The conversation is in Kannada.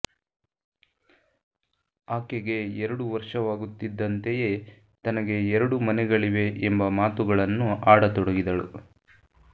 ಆಕೆಗೆ ಎರಡು ವರ್ಷವಾಗುತ್ತಿದ್ದಂತೆಯೇ ತನಗೆ ಎರಡು ಮನೆಗಳಿವೆ ಎಂಬ ಮಾತುಗಳನ್ನು ಆಡತೊಡಗಿದಳು